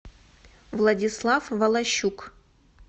владислав волощук